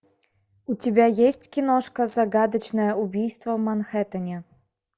у тебя есть киношка загадочное убийство в манхэтэнне